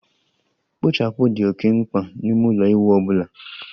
Kpochapu dị oké mkpa n'ime ụlọ ịwụ ọ bụla